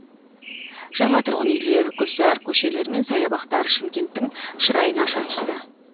жаңа тұрғын үйлер гүлзар көшелер мен саябақтар шымкенттің шырайын аша түсті